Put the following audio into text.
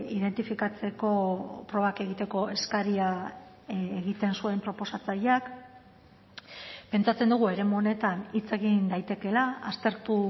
identifikatzeko probak egiteko eskaria egiten zuen proposatzaileak pentsatzen dugu eremu honetan hitz egin daitekeela aztertu